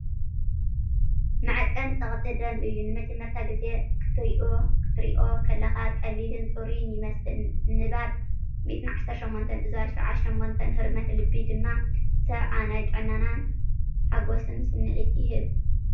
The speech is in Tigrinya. መዐቀኒ ጸቕጢ ደም እዩ። ንመጀመርታ ግዜ ክትሪኦ ከለኻ ቀሊልን ጽሩይን ይመስል፤ ንባብ 118/78፡ ህርመት ልቢ ድማ 70. ናይ ጥዕናን ሓጎስን ስምዒት ይህብ።